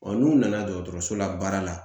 n'u nana dɔgɔtɔrɔso la baara la